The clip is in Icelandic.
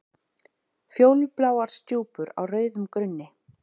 Fjólubláar stjúpur á rauðum grunni.